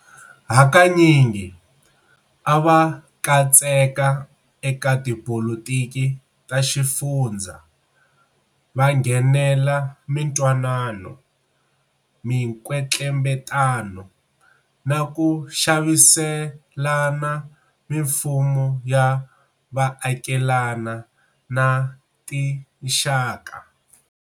Hakanyingi a va katseka eka tipolitiki ta xifundzha, va nghenela mintwanano, minkwetlembetano, na ku xaviselana na mimfumo ya vaakelani na tinxaka.